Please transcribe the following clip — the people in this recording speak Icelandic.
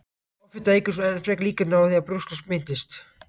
Offita eykur svo enn frekar líkurnar á að brjósklos myndist.